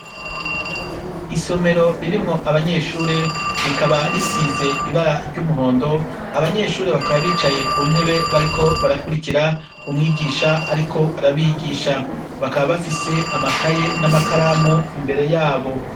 Isomero ririmwo abanyeshure rikaba risize ibara ry'umuhondo abanyeshuri bakaba bicaye ku ntebe bariko barakurikira umwigisha, ariko arabigisha bakaba bafise amakaye n'amakaramu imbere yabo.